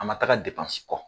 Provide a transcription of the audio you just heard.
A man taga kɔ.